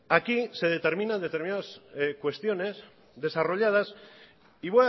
aquí se determinan determinadas cuestiones desarrolladas y